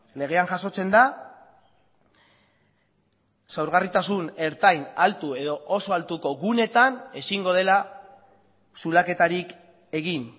legean jasotzen da sorgarritasun ertain altu edo oso altuko guneetan ezingo dela zulaketarik egin